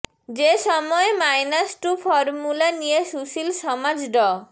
যে সময়ে minus two formula নিয়ে সুশীল সমাজ ড